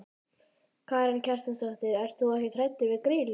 Karen Kjartansdóttir: Ert þú ekkert hræddur við Grýlu?